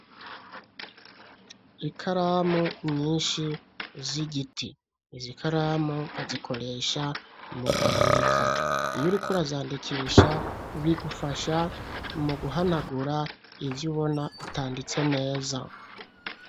Ikaramu nyishi z'igiti izikaramu bazikoresha mu kwandika iyo uriko urazandikisha bigufasha mu guhanagura ivyo ubona utanditse neza.